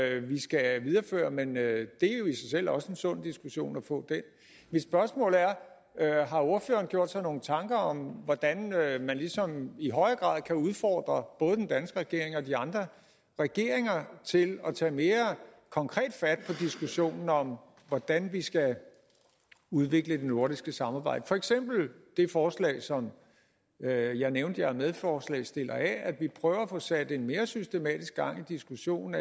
vi skal videreføre men det er jo i sig selv også en sund diskussion at få mit spørgsmål er er har ordføreren gjort sig nogle tanker om hvordan man ligesom i højere grad kan udfordre både den danske regering og de andre regeringer til at tage mere konkret fat på diskussionen om hvordan vi skal udvikle det nordiske samarbejde for eksempel det forslag som jeg jeg nævnte jeg er medforslagsstiller af om at vi prøver at få sat mere systematisk gang i diskussionen